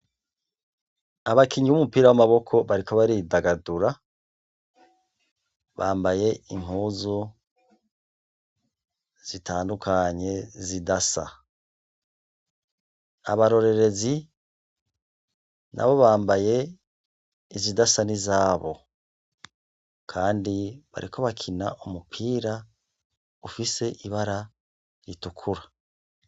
Abakinyi b'umupira w'amaboko bariko baridagadura bambaye inkozo zitandukanye zidasa abarorerezi na bo bambaye izidasa n'izabo, kandi bareko bakina umupira ufise ibara ritukura.